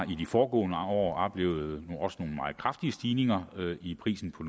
vi i de foregående år har oplevet nogle meget kraftige stigninger i priserne på